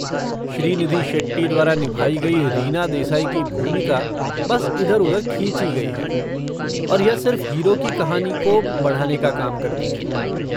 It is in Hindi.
श्रीनिधि शेट्टी द्वारा निभाई गई रीना देसाई की भूमिका बस इधर उधर खींची गई है और यह सिर्फ हीरो की कहानी को बढ़ाने का काम करती है।